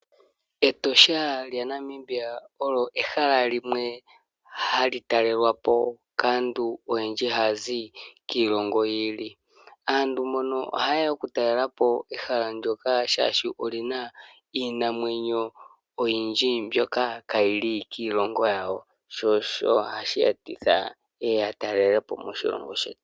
Etosha lya Namibia olyo ehala limwe hali talelapo kaantu oyendji hazi kiilongo yili, aantu mbono oha yeya oku talelapo ehala ndoka shashi olina Iinamwenyo oyindji mbyoka kayili kiilongo yayo sho osho hashiyetitha yeye yatalelepo moshilongo shetu.